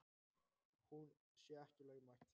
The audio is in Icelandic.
Hún sé ekki lögmæt.